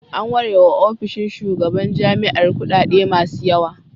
An ware wa ofishin shugaban jami'ar kuɗaɗe masu yawa.